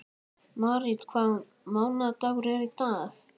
Marít, hvaða mánaðardagur er í dag?